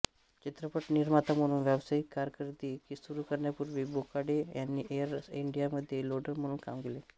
चित्रपट निर्माता म्हणून व्यावसायिक कारकीर्द सुरू करण्यापूर्वी बोकाडे यांनी एअर इंडियामध्ये लोडर म्हणून काम केले